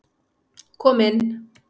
Kom inn.